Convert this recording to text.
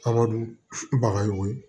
Abadu bagayo ye